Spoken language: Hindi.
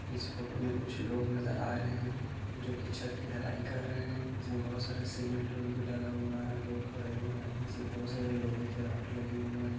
इस फोटो में कुछ लोग नजर आ रहे हैं जो की छत की ढलाई कर रहे हैं। इसमें बहुत सारे सीमेंट भी डाला हुआ हैं। लोग खड़े हुए हैं। ऐसे बहुत सारे लोहे के रॉड डले हुए हैं।